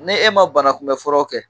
Ni e ma bana kunbɛ furaw kɛ